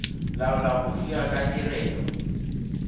laola go fiwa ga tirelo